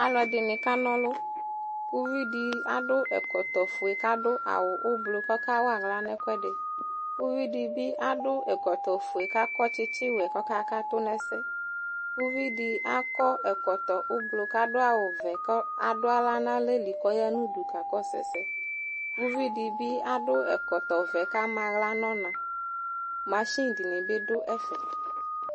Alʋɛdɩnɩ kana ɔlʋ Uvi dɩ adʋ ɛkɔtɔfue kʋ adʋ awʋ ʋblɔ kʋ ɔkawa aɣla nʋ ɛkʋɛdɩ Uvi dɩ bɩ adʋ ɛkɔtɔfue kʋ akɔ tsɩtsɩwɛ kʋ ɔkakatʋ nʋ ɛsɛ Uvi dɩ akɔ ɛkɔtɔ ʋblɔ kʋ adʋ awʋvɛ kʋ adʋ aɣla nʋ alɛli kʋ ɔya nʋ udu kakɔsʋ ɛsɛ Uvi dɩ bɩ adʋ ɛkɔtɔvɛ kʋ ama aɣla nʋ ɔna Masin dɩnɩ bɩ dʋ ɛfɛ